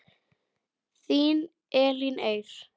Þín Elín Eir.